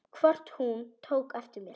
Hvort hún tók eftir mér.